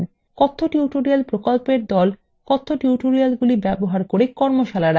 কথ্য টিউটোরিয়াল প্রকল্প দল কথ্য টিউটোরিয়ালগুলি ব্যবহার করে কর্মশালার আয়োজন করে